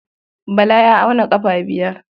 Bala ya auna ƙafa biyar.